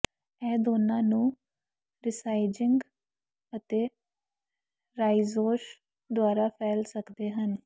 ਇਹ ਦੋਨਾਂ ਨੂੰ ਰੀਸਾਈਜਿੰਗ ਅਤੇ ਰਾਇਜ਼ੋਮ ਦੁਆਰਾ ਫੈਲ ਸਕਦੇ ਹਨ